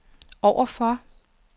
overfor